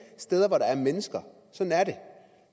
steder hvor der er mennesker sådan er det